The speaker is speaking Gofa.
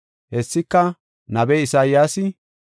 Hessika nabiya Isayaasi,